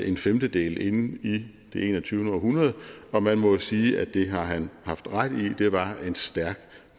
en femtedel inde i det enogtyvende århundrede og man må jo sige at det har han haft ret i det var en stærk